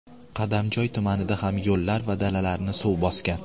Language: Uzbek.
Qadamjoy tumanida ham yo‘llar va dalalarni suv bosgan.